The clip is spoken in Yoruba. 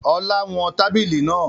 Ọlá wọn tábìlì náà